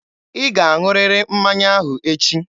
Ị ga-aṅụrịrị mmanya ahụ echi!